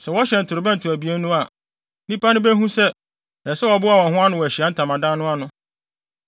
Sɛ wɔhyɛn ntorobɛnto abien no a, nnipa no behu sɛ, ɛsɛ sɛ wɔboa wɔn ho ano wɔ Ahyiae Ntamadan no ano.